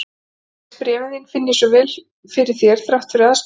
Þegar ég les bréfin þín finn ég svo vel fyrir þér þrátt fyrir aðskilnað.